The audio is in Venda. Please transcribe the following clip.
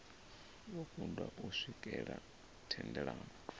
vho kundwa u swikelela thendelano